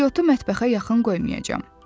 İstiotu mətbəxdə yaxın qoymayacağam.